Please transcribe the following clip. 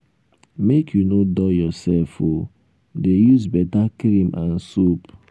make you no dull yourself o dey use beta cream and soap.